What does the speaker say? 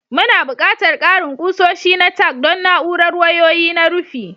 Muna buƙatar ƙarin kusoshi na tack don na'urar wayoyi na rufi.